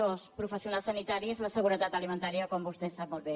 o als professionals sanitaris la seguretat alimentària com vostè sap molt bé